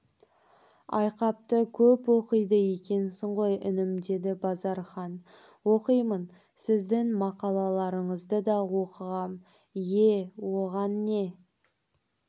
айқапты көп оқиды екенсің ғой інім деді базархан оқимын сіздің мақалаларыңызды да оқығам ие оған не